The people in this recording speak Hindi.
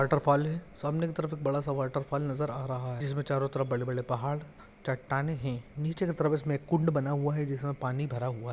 वॉटरफॉल है सामने की तरफ एक बड़ा सा वॉटरफॉल नजर आ रहा है जिसमे चारों तरफ बड़े-बड़े पहाड़ चट्टानें है नीचे की तरफ इसमे एक कुंड बना हुआ है जिसमे पानी भरा हुआ है।